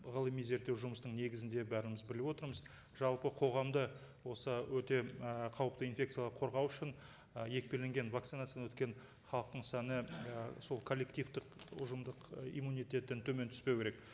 ғылыми зерттеу жұмыстың негізінде бәріміз біліп отырмыз жалпы қоғамда осы өте і қауіпті инфекциядан қорғау үшін ы екпеленген вакцинациядан өткен халықтың саны і сол коллективтік ұжымдық ы иммунитеттен төмен түспеу керек